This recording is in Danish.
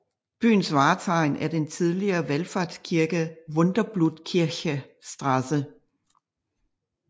Byens vartegn er den tidligere valfartskirke Wunderblutkirche St